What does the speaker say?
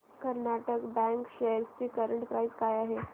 Karnataka bank shares ची current price काय आहे